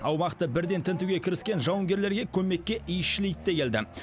аумақты бірден тінтуге кіріскен жауынгерлерге көмекке иісшіл ит те келді